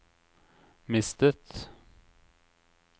mistet